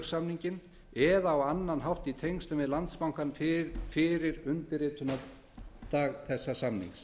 uppgjörssamninginn eða á annan hátt í tengslum við landsbankann fyrir undirritunardag þessa samnings